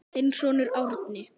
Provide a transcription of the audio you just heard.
Þinn sonur Árni.